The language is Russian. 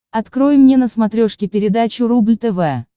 открой мне на смотрешке передачу рубль тв